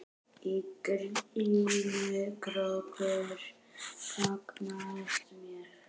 Í glímu krókur gagnast mér.